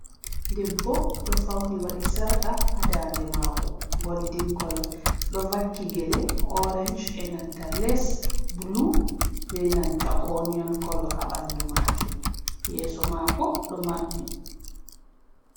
Debbo ɗo fauni waɗi sarƙa ha dande mako goldin kolo, ɗo vakki gele orenj e nanta les bulu be nanta onion kolo ha ɓandu majum, yeso mako ɗo maɓɓi.